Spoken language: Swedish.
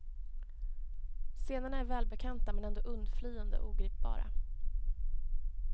Scenerna är välbekanta men ändå undflyende, ogripbara.